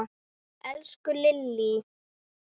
Elsku Lillý!